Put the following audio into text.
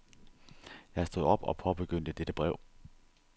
Jeg stod op og påbegyndte dette brev.